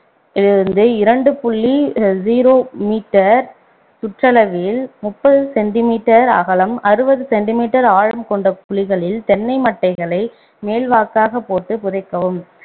இருந்து முதல் இரண்டு புள்ளி zero meter சுற்றளவில் முப்பது centimeter அகலம் அறுவது centimeter ஆழம் கொண்ட குழிகளில் தென்னை மட்டைகளை மேல்வாக்காப் போட்டு புதைக்கவும்